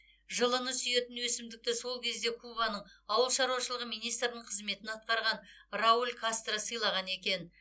жылыны сүйетін өсімдікті сол кезде кубаның ауыл шаруашылығы министрінің қызметін атқарған рауль кастро сыйлаған екен